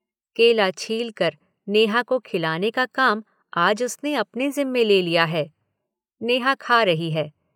केला छील कर नेहा को खिलाने का काम आज उसने अपने ज़िम्मे ले लिया है। नेहा खा रही है।